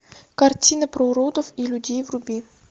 картина про уродов и людей вруби